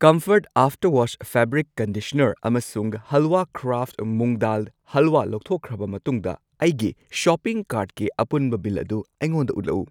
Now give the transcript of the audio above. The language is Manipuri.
Comfort After Wash fabric conditioner ꯑꯃꯁꯨꯡ ꯍꯜꯋꯥ ꯀ꯭ꯔꯥꯐꯠ ꯃꯨꯡ ꯗꯥꯜ ꯍꯜꯋꯥ ꯂꯧꯊꯣꯛꯈ꯭ꯔꯕ ꯃꯇꯨꯡꯗ ꯑꯩꯒꯤ ꯁꯣꯄꯤꯡ ꯀꯥꯔꯠꯀꯤ ꯑꯄꯨꯟꯕ ꯕꯤꯜ ꯑꯗꯨ ꯑꯩꯉꯣꯟꯗ ꯎꯠꯂꯛꯎ꯫